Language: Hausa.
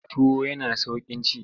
Tuwo yana sauƙin ci.